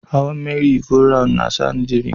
Hawan Merry- go- round na sa ni jiri.